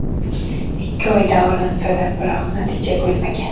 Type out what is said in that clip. Ikki oy davolansa-da, biroq natija bo‘lmagan.